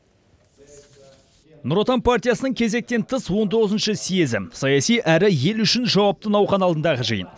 нұр отан партиясының кезектен тыс он тоғызыншы съезі саяси әрі ел үшін жауапты науқан алдындағы жиын